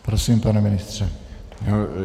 Prosím, pane ministře.